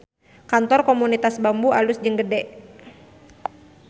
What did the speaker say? Kantor Komunitas Bambu alus jeung gede